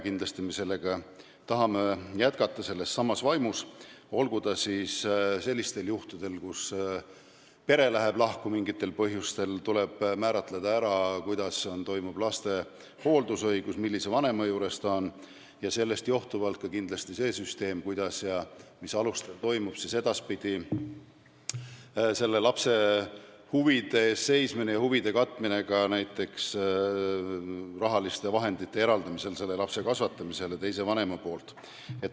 Kindlasti me tahame jätkata sellessamas vaimus, näiteks sellistel juhtudel, kui pere läheb mingil põhjusel lahku ja tuleb kindlaks määrata hooldusõigus, st millise vanema juures laps on, ja sellest johtuvalt ka see süsteem, kuidas ja mis alustel toimub edaspidi lapse huvide eest seismine ja huvide kaitsmine ka näiteks rahaliste vahendite eraldamisel selle lapse kasvatamise jaoks teise vanema poolt.